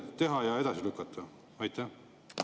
Minu meelest on olnud avatud debatt ja on arvestatud ka ettepanekutega.